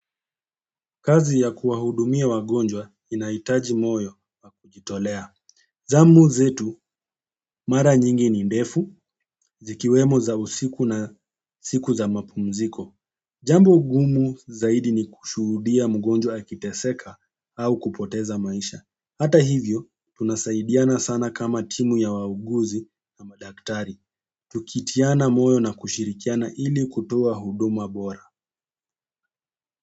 Kazi ya kuwa hudumia wagonjwa inahitaji moyo nakujitolea. Zamu zetu, mara nyingi ni ndefu, zikiwemo za usiku na siku za mapumziko. Jambo ngumu zaidi ni kushuhudia mgonjwa akiteseka au kupoteza maisha. Hata hivyo, tunasaidiana sana kama timu ya wauguzi na madaktari. Tukitiana moyo na kushirikiana ili kutoa huduma bora.